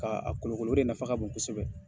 K'a kolonkolo, la de nafa ka bon kosɛbɛ.